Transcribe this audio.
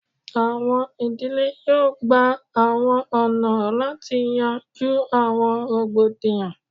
Awọn idile yoo gba awọn ọna lati yanju awọn rogbodiyan